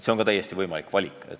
See on ka täiesti võimalik valik.